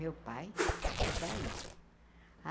Meu pai saia.